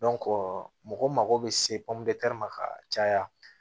mɔgɔ mago bɛ se ma ka caya